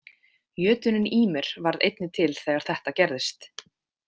Jötuninn Ýmir varð einnig til þegar þetta gerðist.